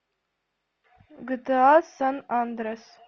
гта сан андреас